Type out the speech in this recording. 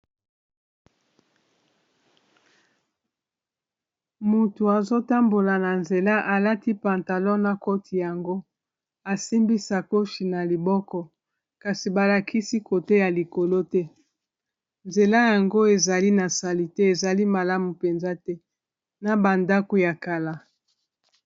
Mutu azotambola na nzela alati pantalon na koti yango asimbi sakoshi na liboko kasi balakisi kote ya likolo te nzela yango ezali na sali te ezali malamu mpenza te na ba ndako ya kala.